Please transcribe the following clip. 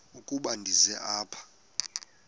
ukuba ndize apha